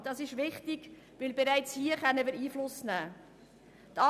Das ist wichtig, weil wir bereits hier Einfluss nehmen können.